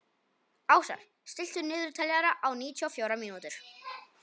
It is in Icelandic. Ásar, stilltu niðurteljara á níutíu og fjórar mínútur.